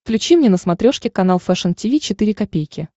включи мне на смотрешке канал фэшн ти ви четыре ка